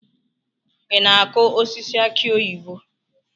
Ị na-akụ osisi aki oyibo?